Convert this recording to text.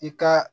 I ka